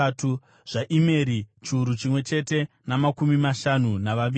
zvaImeri, chiuru chimwe chete namakumi mashanu navaviri;